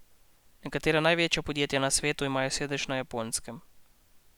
Nekatera največja podjetja na svetu imajo sedež na Japonskem.